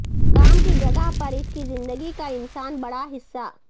کام کی جگہ پر اس کی زندگی کا انسان بڑا حصہ